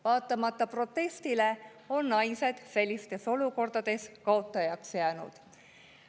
Vaatamata protestile on naised sellistes olukordades kaotajaks jäänud.